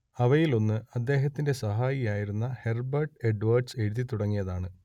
അവയിലൊന്ന് അദ്ദേഹത്തിന്റെ സഹായിയായിരുന്ന ഹെർബെർട്ട് എഡ്വേഡ്സ് എഴുതിത്തുടങ്ങിയതാണ്